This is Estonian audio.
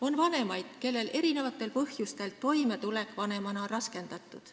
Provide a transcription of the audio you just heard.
On vanemaid, kellel erinevatel põhjustel on toimetulek vanemana raskendatud.